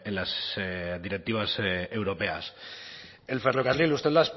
las directivas europeas el ferrocarril usted